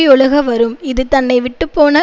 யொழுக வரும் இது தன்னை விட்டு போன